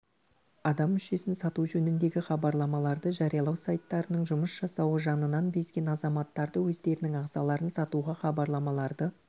адам мүшесін сату жөніндегі хабарламаларды жариялау сайттарының жұмыс жасауы жанынан безген азаматтарды өздерінің ағзаларын сатуға хабарлармаларды